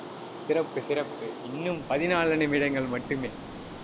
சிறப்பு, சிறப்பு இன்னும், பதினான்கு நிமிடங்கள் மட்டுமே.